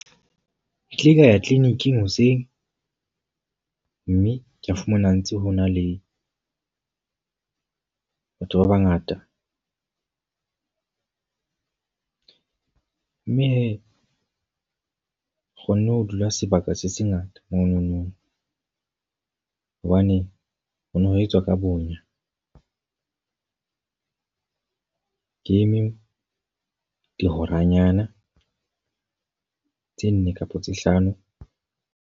Ke ile ka ya clinic-ing hoseng. Mme ka fumana ho ntse ho na le batho ba bangata. Mme he ke kgonne ho dula sebaka se se ngata monono. Hobane ho no ho etswa ka bonya. Ke eme dihoranyana tse nne kapa tse hlano.